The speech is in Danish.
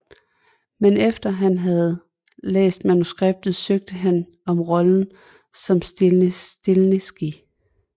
Men efter at han havde læst manuskriptet søgte han om rollen som Stiles Stilinski